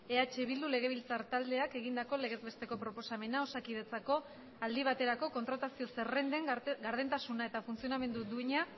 eh bildu legebiltzar taldeak egindako legez besteko proposamena osakidetzako aldi baterako kontratazio zerrenden gardentasuna eta funtzionamendu duina